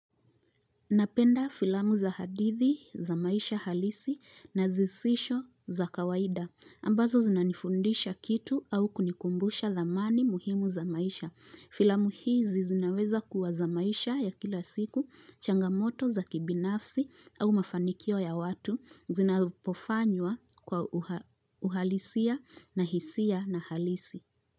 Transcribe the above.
Napenda filamu za hadithi za maisha halisi na zisisho za kawaida. Ambazo zinanifundisha kitu au kunikumbusha thamani muhimu za maisha. Filamu hizi zinaweza kuwa za maisha ya kila siku, changamoto za kibinafsi au mafanikio ya watu, zinapofanywa kwa uhalisia na hisia na halisi.